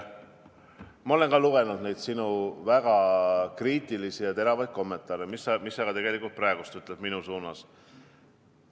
Ma olen lugenud sinu väga kriitilisi ja teravaid kommentaare, mida sa tegelikult ka praegu minu suunas pillud.